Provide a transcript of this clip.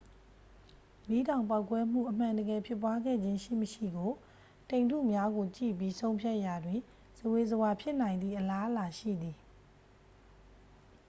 မီးတောင်ပေါက်ကွဲမှု အမှန်တကယ်ဖြစ်ပွားခဲ့ခြင်းရှိမရှိကို တိမ်ထုများကို ကြည့်ပြီး ဆုံးဖြတ်ရာတွင် ဇဝေဇဝါဖြစ်နိုင်သည့် အလားအလာရှိသည်